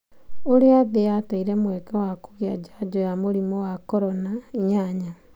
Ũrĩa thĩ yateire mweke wa kũgĩa jajo ya mũrimũ wa Korona 8.